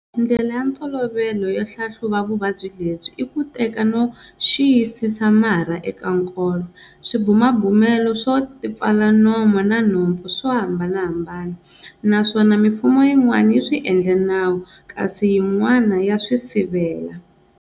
Ndlela ya ntolovelo yo hlahluva vuvabyi lebyi i ku teka no xiyisisa marha eka nkolo. Swibumabumelo swo tipfala nomo na nhopfu swa hambanahambana, naswona mifumo yi'wana yi swi endle nawu, kasi yin'wana ya swisivela.